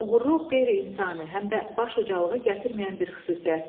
Oğruluq qeyri-insani, həm də baş ucalığı gətirməyən bir xüsusiyyətdir.